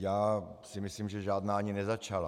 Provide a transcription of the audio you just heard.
Já si myslím, že žádná ani nezačala.